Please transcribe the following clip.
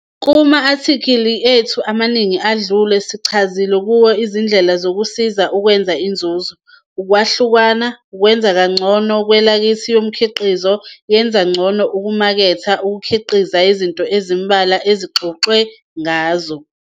Kuma-athikhili ethu amaningi adlule sichazile kuwo izindlela zokusiza ukwenza inzuzo. Ukwahlukana, kwenza ngcono ikhwalithi yomkhiqizo, yenza ngcono ukumaketha, ukukhiqiza, yizinto ezimbalwa okuxoxwe ngazo.